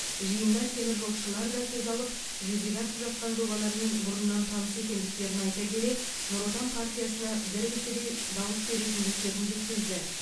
жиында теміржолшылар да сөз алып жүзеге асып жатқан жобалармен бұрыннан таныс екендіктерін айта келе нұр отан партиясына біркісідей дауыс беретіндіктерін жеткізді